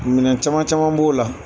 Minɛn caman caman b'o la.